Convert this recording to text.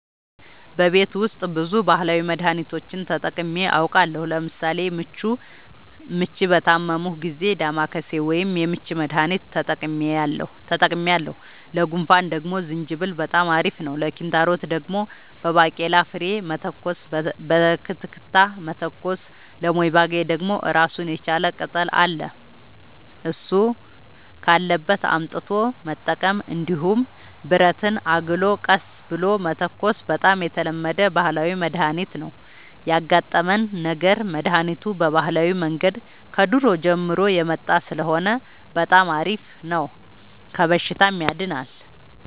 በቤት ውስጥ ብዙ ባህላዊ መድሀኒቶችን ተጠቅሜ አውቃለሁ ለምሳሌ ምች በታመምሁ ጊዜ ዳማከሴ ወይም የምች መድሀኒት ተጠቅሜያለሁ ለጉንፋን ደግሞ ዝንጅብል በጣም አሪፍ ነው ለኪንታሮት ደግሞ በባቄላ ፍሬ መተኮስ በክትክታ መተኮስ ለሞይባገኝ ደግሞ እራሱን የቻለ ቅጠል አለ እሱ ካለበት አምጥቶ መጠቀም እንዲሁም ብረትን አግሎ ቀስ ብሎ መተኮስ በጣም የተለመደ ባህላዊ መድሀኒት ነው ያጋጠመን ነገር መድሀኒቱ በባህላዊ መንገድ ከድሮ ጀምሮ የመጣ ስለሆነ በጣም አሪፍ ነው ከበሽታውም ያድናል።